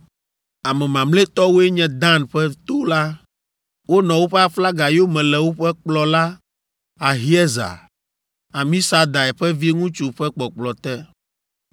Ame mamlɛtɔwoe nye Dan ƒe to la. Wonɔ woƒe aflaga yome le woƒe kplɔla, Ahiezer, Amisadai ƒe viŋutsu ƒe kpɔkplɔ te.